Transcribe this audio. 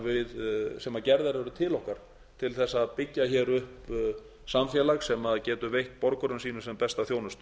kröfum sem gerðar eru til okkar til að byggja upp samfélag sem getur veitt borgurum sínum sem besta þjónustu